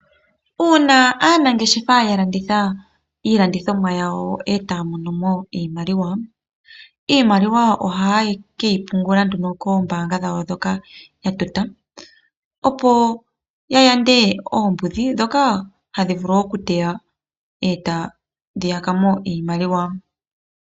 Uuna aanangeshefa ya landitha iilandithomwa yawo etaya mono mo iimaliwa, iimaliwa ohaye ke yi pungula nduno koombaanga dhawo ndhoka ya tota. Opo ya yande oombudhi ndhoka hadhi vulu okuteya etadhi yaka mo iimaliwa.